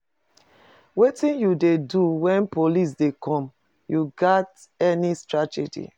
Wetin you dey do when police dey come, you get any strategy?